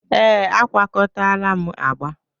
ee, agwakọtala m agba